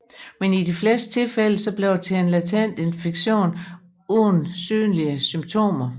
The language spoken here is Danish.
Men i de fleste tilfælde bliver det til en latent infektion uden synlige symptomer